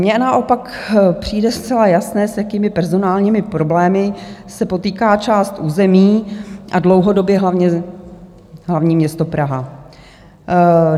Mně naopak přijde zcela jasné, s jakými personálními problémy se potýká část území a dlouhodobě hlavně hlavní město Praha.